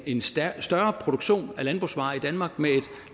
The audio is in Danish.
en større produktion af landbrugsvarer i danmark med et